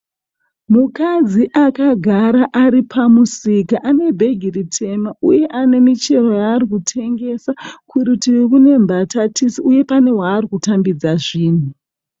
Mukadzi akagara ari pamusika ane bhegi ritema uye ane michero yaari kutengesa kurutivi kune mbatatisi uye pane waari kutambidza zvinhu.